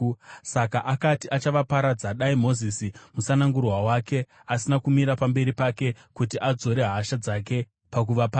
Saka akati, achavaparadza, dai Mozisi, musanangurwa wake, asina kumira pamberi pake kuti adzore hasha dzake pakuvaparadza.